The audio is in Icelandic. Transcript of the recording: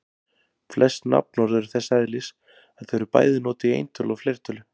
Flest nafnorð eru þess eðlis að þau eru bæði notuð í eintölu og fleirtölu.